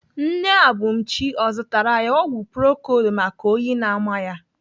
Nne Abumchi ọ zụtara ya ọgwụ procold maka oyi na-ama ya?